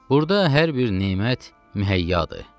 Burda hər bir nemət mühəyyadır.